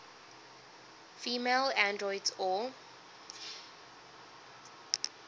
female androids or